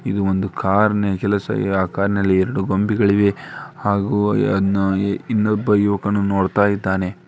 ಇದು ಒಂದು ಕಾರು ನಿಲ್ಲಿಸಿದೆ ಆ ಕಾರಿನಲ್ಲಿ ಎರಡು ಗೊಂಬೆಗಳಿವೆ ಹಾಗೂ ಅನ್ನು ಇನ್ನೊಬ್ಬ ಯುವಕನು ನೋಡ್ತಾ ಇದ್ದಾನೆ .